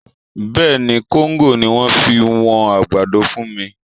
Bẹ́ẹ̀ ni, kóńgò ni wọ́n fi wọn àgbàdo fún mi